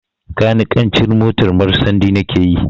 Kanikancin motar marsandi na ke yi